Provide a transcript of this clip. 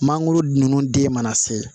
Mangoro ninnu den mana se